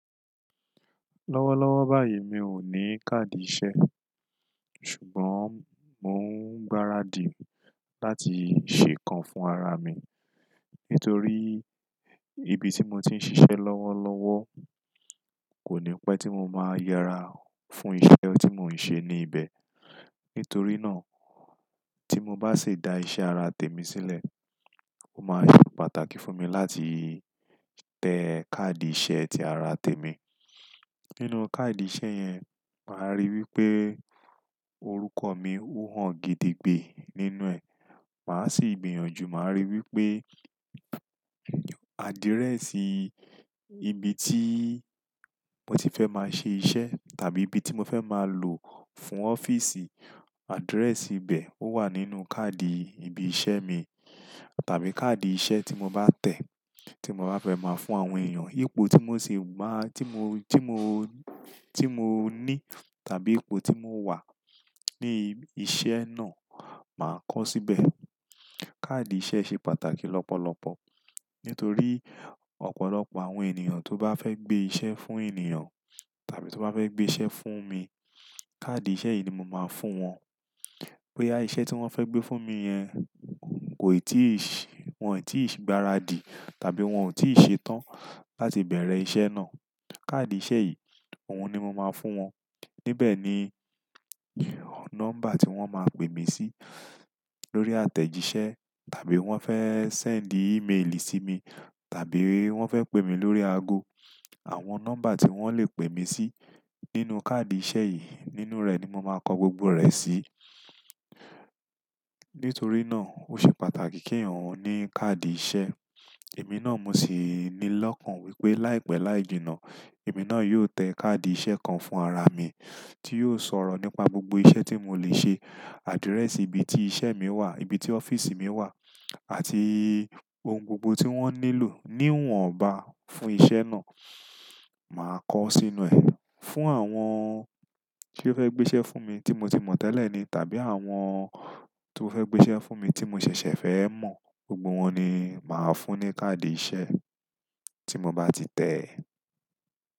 Lọ́wọ́lọ́wọ́ báyìí mi ò ní káàdì iṣẹ́, ṣùgbọ́n mò ń gbáradì láti ṣe kan fún ara mi. Nítorí ibi tí mo ti ń ṣiṣẹ́ lọ́wọ́lọ́wọ́ kò ní pẹ́ tí mo máa yára fún iṣẹ́ tí mò ń ṣe ní ibẹ̀. Nítorí náà, tí mo bá ṣe da iṣẹ́ ara tèmi sílẹ̀, ó máa ṣe pàtàkì fún mi láti tẹ káàdì iṣẹ́ ti ara tèmi. Nínú káàdì iṣẹ́ yẹn, màá rí wí pé orúkọ mi ó hàn gidigbe nínú ẹ̀. Màá sì gbìyànjú, màá rí wí pé adirẹ̀sì ibi tí mo ti fẹ́ máa ṣe iṣẹ́ tàbí ibi tí mo fẹ́ máa lò fún ọ́fíìsì, adirẹ̀sì ibẹ̀ ó wà nínú káàdì ibi iṣẹ́ mi tàbí káàdì iṣẹ́ tí mo bá tẹ̀ tí mo bá fẹ́ máa fún àwọn èèyàn ipò tí mò sì máa-- tí mo, tí mo, tí mo ní tàbí ipò tí mò ń wà ní iṣẹ́ náà máa kọ́ síbẹ̀. Káàdì iṣẹ́ ṣe pàtàkì lọ́pọ̀lọpọ̀ nítorí ọ̀pọ̀lọpọ̀ àwọn ènìyàn tó bá fẹ́ gbé iṣẹ́ fún ènìyàn tàbí tó bá fẹ́ gbé iṣẹ́ fún mi, káàdì iṣẹ́ yìí ni mo máa fún wọn. Boya iṣẹ́ tí wọ́n fẹ́ gbé fún mi yẹn woì tí gbáradì tàbí wọ́n ò tí ì ṣe tán láti bẹ̀rẹ̀ iṣẹ́ náà. Káàdì iṣẹ́ yìí ohun ni mo máa fún wọn. Níbẹ̀ ni nọ́mbà tí wọ́n máa pè mí sí lórí àtẹ̀jíṣẹ́ tàbí wọ́n fẹ́ sẹ́ẹ̀ńdì ímeèlì sí mi tàbí wọ́n fẹ́ pè mí lórí ago. Àwọn nọ́mbà tí wọ́n lè pè mí sí nínú káàdì iṣẹ́ yìí, nínú rẹ̀ ni mo máa kọ gbogbo rẹ̀ sí. Nítorí náà ó ṣe pàtàkì kí eyan ní káàdì iṣẹ́. Èmi náà mo sì ní lọ́kàn wípé láìpẹ́ láì jìnnà, èmi náà yóò tẹ káàdì iṣẹ́ kan fún ara mi tí yóò sọ̀rọ̀ nípa gbogbo iṣẹ́ tí mo lè ṣe, adirẹ̀sì ibi tí iṣẹ́ mi wà, ibi tí ọ́fíìsì mi wà àti ohun gbogbo tí wọ́n nílò níwọ̀nba fún iṣẹ́ náà, màá kọ sínú ẹ̀. Fún àwọn tí ó fẹ́ gbé iṣẹ́ fún mi tí mo ti mọ̀ tẹ́lẹ̀ ni tàbí àwọn tó fẹ́ gbé iṣẹ́ fún mi tí mo ṣẹ̀ṣẹ̀ fẹ́ mọ̀, gbogbo wọn ni màá fún ní káàdì iṣẹ́ tí mo bá ti tẹ ẹ.